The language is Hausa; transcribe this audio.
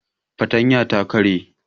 Fartanyar ta karye